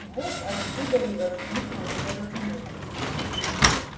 вот откуда и возникло недоразумение